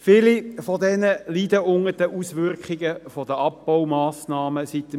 Viele von ihnen leiden unter den Auswirkungen der Abbaumassnahmen seit 2014.